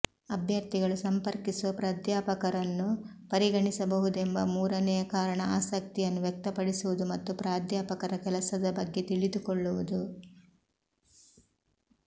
ಅಭ್ಯರ್ಥಿಗಳು ಸಂಪರ್ಕಿಸುವ ಪ್ರಾಧ್ಯಾಪಕರನ್ನು ಪರಿಗಣಿಸಬಹುದೆಂಬ ಮೂರನೆಯ ಕಾರಣ ಆಸಕ್ತಿಯನ್ನು ವ್ಯಕ್ತಪಡಿಸುವುದು ಮತ್ತು ಪ್ರಾಧ್ಯಾಪಕರ ಕೆಲಸದ ಬಗ್ಗೆ ತಿಳಿದುಕೊಳ್ಳುವುದು